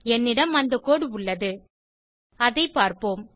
என்னிடம் அந்த கோடு உள்ளது அதை பார்ப்போம்